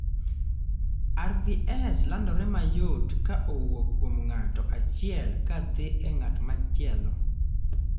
RVS landore mayot ka owuok kuom ng'ato achiel ka dhi e ng'at machielo